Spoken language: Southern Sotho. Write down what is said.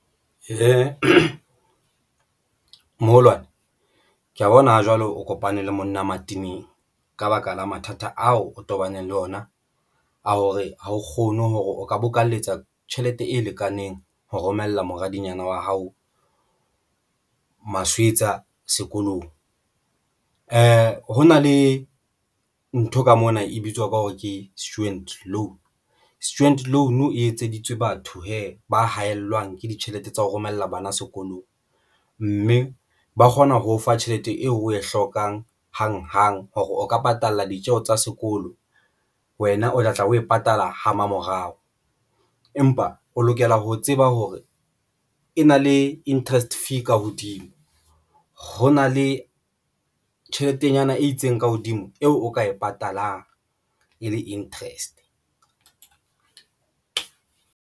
Moholwane ke ya bona jwalo o kopane le monna mateneng ka baka la mathata ao o tobaneng le ona a hore ha o kgone hore o ka bokalletsa tjhelete e lekaneng ho romella moradinyana wa hao Maswetsa sekolong. Ha hona le ntho ka mona e bitswang ka hore ke student loan. Student Loan e etseditswe batho hee ba haellwang ke ditjhelete tsa ho romella bana sekolong mme ba kgona ho o fa tjhelete eo oe hlokang hang hang hore o ka patala ditjeho tsa sekolo wena o tlatla o e patala ha mmamorao, empa o lokela ho tseba hore e na le interest fee ka hodimo ho na le tjheletenyana e itseng ka hodimo eo o ka e patalang e le interest.